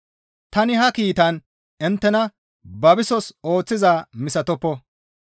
Tani ha kiitaan inttena babisos ooththizaa misatoppo.